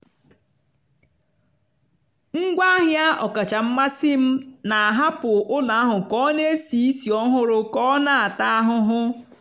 ngwaahịa ọkacha mmasị m na-ahapụ ụlọ ahụ ka ọ na-esi ísì ọhụrụ ka ọ na-ata ahụhụ.